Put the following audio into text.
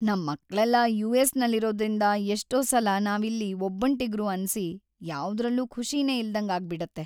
ನಮ್‌ ಮಕ್ಳೆಲ್ಲ ಯು.ಎಸ್.ನಲ್ಲಿರೋದ್ರಿಂದ ಎಷ್ಟೋ ಸಲ ನಾವಿಲ್ಲಿ ಒಬ್ಬಂಟಿಗ್ರು ಅನ್ಸಿ ಯಾವುದ್ರಲ್ಲೂ ಖುಷಿನೇ ಇಲ್ದಂಗಾಗ್ಬಿಡತ್ತೆ.